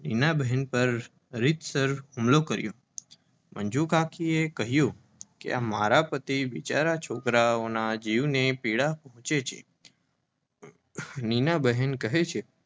નીનાબહેન પર રીતસર હુમલો કર્યો મંજુ કાકીએ કહ્યું કે મારા પતિ બિચારા છોકારાઓના જીવની પીડા પૂછે છે નીના બહેન કહે છે